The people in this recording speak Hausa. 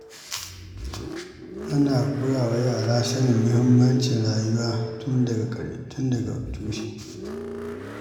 Ana koyawa yara sanin muhimmancin rayuwa ne tun daga tushe.